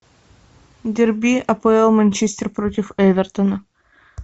дерби апл манчестер против эвертона